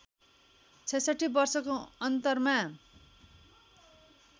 ६६ वर्षको अन्तरमा